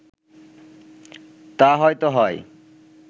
তা হয়ত হয়